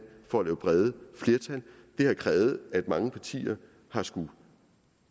for at lave brede flertal det har krævet at mange partier har skullet